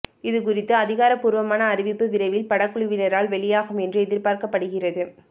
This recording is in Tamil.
இது குறித்த அதிகாரபூர்வமான அறிவிப்பு விரைவில் படக்குழுவினரால் வெளியாகும் என்று எதிர்பார்க்கப்படுகிறது